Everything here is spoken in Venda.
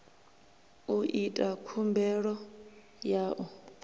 u ita khumbelo ya u